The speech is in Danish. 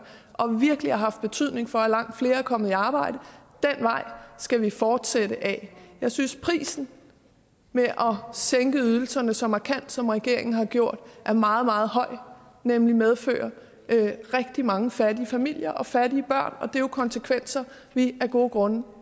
og virkelig har haft betydning for at langt flere er kommet i arbejde den vej skal vi fortsætte ad jeg synes at prisen med at sænke ydelserne så markant som regeringen har gjort er meget meget høj for den medfører rigtig mange fattige familier og fattige børn og det er jo konsekvenser vi af gode grunde